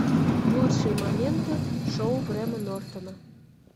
лучшие моменты шоу грэма нортона